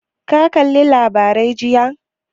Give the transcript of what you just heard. Ka kalli labarai jiya?